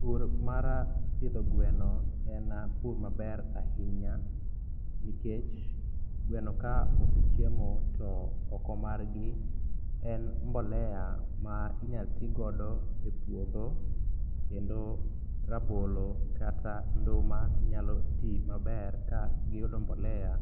Pur mar pidho gweno en pur maber ahinya nikech gweno ka osechiemo to oko margi en mbolea ma inyatigodo e puodho kendo rabolo kata nduma nyaloti maber kagiyudo mbolea